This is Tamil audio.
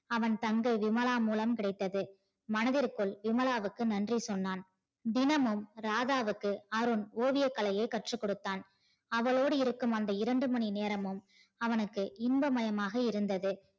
அவன்தங்கை விமலா மூலம் கிடைத்தது மனதிற்குள் விமலாவுக்கு நன்றி சொன்னான் தினமும் ராதாவுக்கு அருண் ஓவிய கலையை கற்று கொடுத்தான் ஆவலோடு இருக்கும் அந்த இரண்டு மணி நேரமும் அவனுக்கு இன்ப மயமா இருந்தது